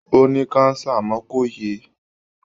Ó ní káńsà àmọ́ kò yè é.